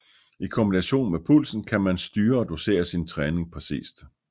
I kombination med pulsen kan man styre og dosere sin træning præcist